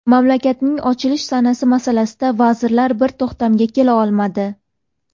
Mamlakatning ochilish sanasi masalasida vazirlar bir to‘xtamga kela olmadi.